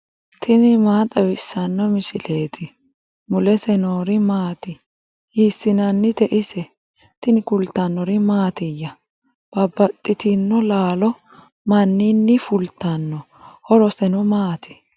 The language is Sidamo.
tini maa xawissanno misileeti ? mulese noori maati ? hiissinannite ise ? tini kultannori mattiya? babaxxittinno laalo maninni fulittinno? horosenno maati?